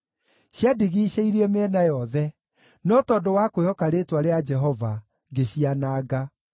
Ciandigiicĩirie mĩena yothe, no tondũ wa kwĩhoka rĩĩtwa rĩa Jehova, ngĩciananga.